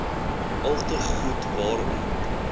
alte goed waarom